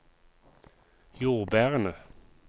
jordbærene